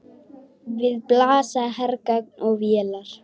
Við blasa hergögn og vélar.